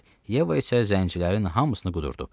Yeva isə zəncilərin hamısını qudurdu.